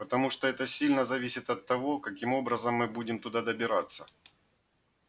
потому что это сильно зависит от того каким образом мы будем туда добираться